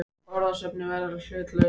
Orðasöfnunin verður að vera hlutlaus.